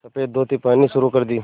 सफ़ेद धोती पहननी शुरू कर दी